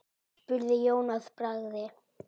spurði Jón að bragði.